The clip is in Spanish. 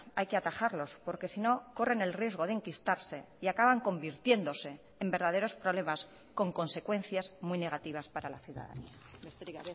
hay que atajarlos porque sino corren el riesgo de enquistarse y acaban convirtiéndose en verdaderos problemas con consecuencias muy negativas para la ciudadanía besterik